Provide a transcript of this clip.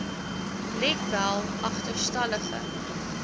let wel agterstallige